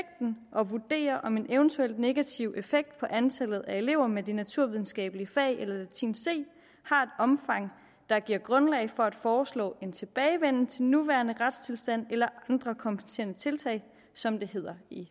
og vurderer om en eventuelt negativ effekt på antallet af elever med de naturvidenskabelige fag eller latin c har et omfang der giver grundlag for at foreslå en tilbagevenden til den nuværende retstilstand eller andre kompetente tiltag som det hedder i